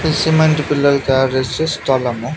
ఇది సిమెంటు పిల్లలు తయారు చేసే స్థలము.